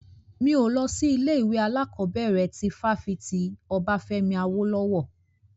Mi ò lọ sí ilé ìwé alákọ̀bẹ̀rẹ̀ ti fáfitì Obafemi Awolowo.